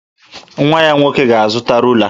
Nwa ya nwoke ga-azụta rula